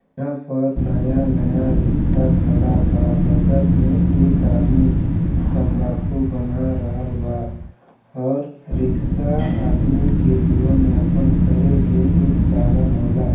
यहाँ पर नया-नया रिक्शा खड़ा बा बगल में एक आदमी तंबाकू बना रहल बा और रिक्शा आदमी के जीवन यापन करे के एक साधन होला।